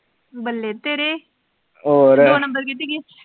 ਬੱਲੇ ਤੇਰੇ, ਹੋਰ, ਦੋ ਨੰਬਰ ਕਿੱਥੇ ਗਏ।